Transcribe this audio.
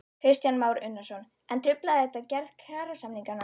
Kristján Már Unnarsson: En truflar þetta gerð kjarasamninganna?